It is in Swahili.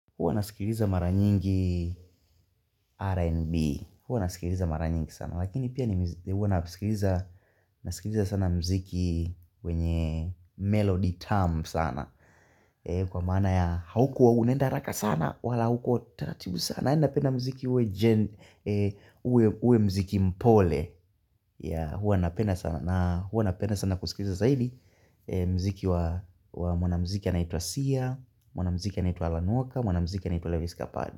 Huwa nasikiliza mara nyingi Rnb huwa nasikiliza mara nyingi sana, lakini pia nasikiliza nasikiliza sana muziki. Wenye Melody Tamu sana. Kwa maana ya hauko unaenda haraka sana wala hauko taratibu sana yani. Napenda muziki uwe gen uwe muziki mpole. Huwa napenda sana kusikiliza zaidi. Muziki wa mwanamuziki anaitwa siah. Mwana muziki anaitwa Alan Walker. Mwanamuziki anaitwa Lavis Kapad.